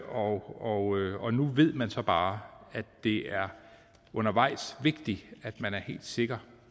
og og nu ved man så bare at det undervejs vigtigt at man er helt sikker